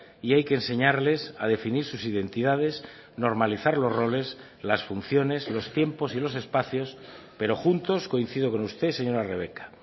y hay que enseñarles a definir sus identidades normalizar los roles las funciones los tiempos y los espacios pero juntos coincido con usted señora rebeka